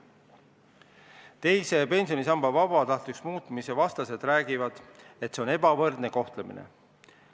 Teise pensionisamba vabatahtlikuks muutmise vastased räägivad, et tegu on ebavõrdse kohtlemisega.